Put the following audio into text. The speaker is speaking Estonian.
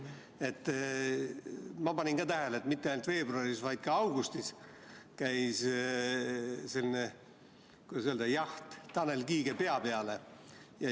Ma panin samuti tähele, et mitte ainult veebruaris, vaid ka augustis käis selline, kuidas öelda, jaht Tanel Kiige pea peale.